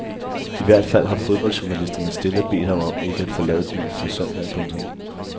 I hvert fald har fodboldjournalisterne stille bedt ham ikke at forlade byen før søndag. punktum